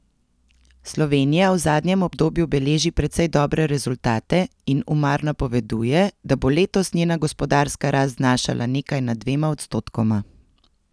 Slovenija v zadnjem obdobju beleži precej dobre rezultate in Umar napoveduje, da bo letos njena gospodarska rast znašala nekaj nad dvema odstotkoma.